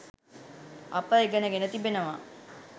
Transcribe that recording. අප ඉගෙන ගෙන තිබෙනවා.